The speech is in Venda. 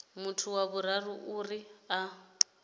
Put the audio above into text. muthu wa vhuraru uri a